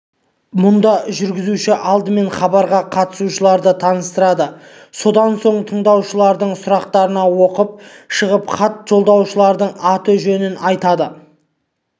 мұнда жүргізуші алдымен хабарға қатысушыларды таныстырады сонан соң тыңдаушылардың сұрақтарын оқып шығып хат жолдаушылардың аты-жөнін атайды